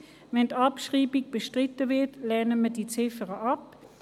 Wird die Abschreibung bestritten, lehnen wir diese Ziffern ab.